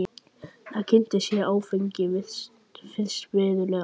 Þar kynntist ég áfengi fyrst verulega.